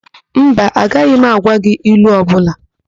Mba, agaghị m agwa gị ilu ọbụla.